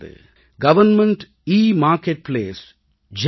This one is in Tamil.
government e marketplace GEM